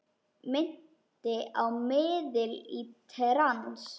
Minnti á miðil í trans.